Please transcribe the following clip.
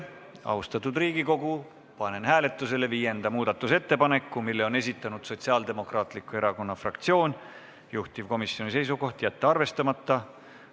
Austatud Riigikogu, panen hääletusele viienda muudatusettepaneku, mille on esitanud Sotsiaaldemokraatliku Erakonna fraktsioon, juhtivkomisjoni seisukoht: jätta arvestamata.